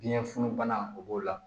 Biyɛn funun bana o b'o la